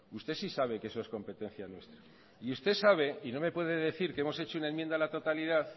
usted sí sabe que eso es competencia nuestra y usted sabe y no me puede decir que hemos hecho una enmienda a la totalidad